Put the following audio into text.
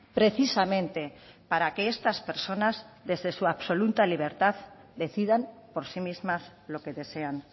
precisamente para que estas personas desde su absoluta libertad decidan por sí mismas lo que desean